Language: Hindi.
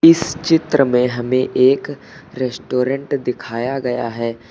इस चित्र में हमें एक रेस्टोरेंट दिखाया गया है।